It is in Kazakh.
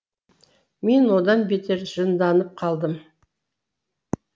мен одан бетер жынданып қалдым